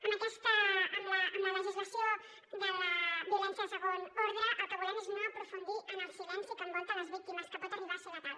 amb la legislació de la violència de segon ordre el que volem és no aprofundir en el silenci que envolta les víctimes que pot arribar a ser letal